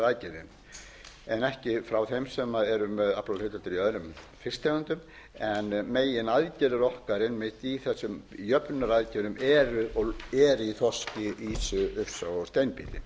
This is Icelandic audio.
frá þeim sem eru með aflahlutdeildir í örum fisktegundum en meginaðgerðir okkar einmitt í þessum jöfnunaraðgerðum er í þorski ýsu og steinbít